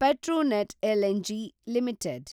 Petronet LNG limited